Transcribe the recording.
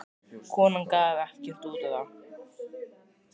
Konan gaf ekkert út á það.